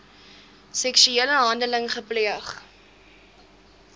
seksuele handeling gepleeg